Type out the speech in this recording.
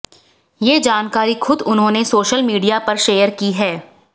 ये जानकारी खुद उन्होंने सोशल मीडिया पर शेयर की हैं